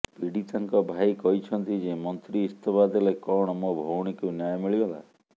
ପୀଡିତାଙ୍କ ଭାଇ କହିଛନ୍ତି ଯେ ମନ୍ତ୍ରୀ ଇସ୍ତଫା ଦେଲେ କଣ ମୋ ଭଉଣୀକୁ ନ୍ୟାୟ ମିଳିଗଲା